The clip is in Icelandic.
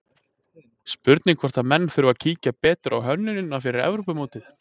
Spurning hvort menn þurfi að kíkja betur á hönnunina fyrir Evrópumótið?